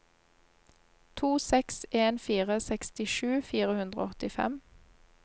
to seks en fire sekstisju fire hundre og åttifem